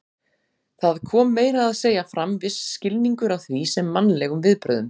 Það kom meira að segja fram viss skilningur á því sem mannlegum viðbrögðum.